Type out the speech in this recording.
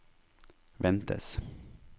ventes